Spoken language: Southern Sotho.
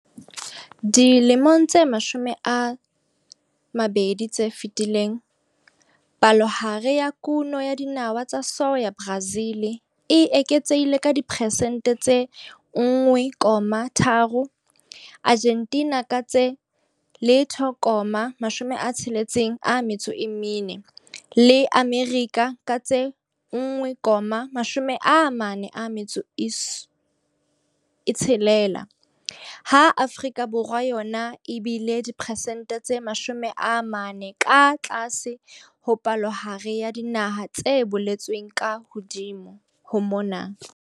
Dilemong tse 20 tse fetileng, palohare ya kuno ya dinawa tsa soya Brazil e eketsehile ka diperesente tse 1,3, Argentina ka tse 0,64 le Amerika ka tse 1,46, ha Afrika Borwa yona e bile diperesente tse 40 ka tlase ho palohare ya dinaha tse boletsweng hodimo mona.